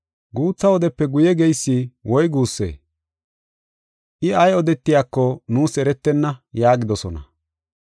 “Guutha wodepe guye geysi woy guussee? I ay odetiyako nuus eretenna” yaagidosona.